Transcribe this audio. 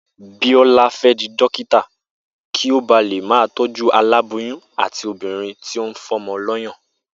Bíó̩lá fé̩ di dókítà kí ó ba lè máa tó̩jú aláboyún àti obìnrin tí ó ń fó̩mo̩ ló̩yàn